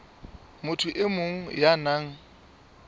motho e mong ya nang